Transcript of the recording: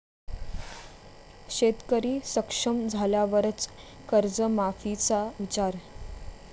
शेतकरी सक्षम झाल्यावरच कर्जमाफीचा विचार'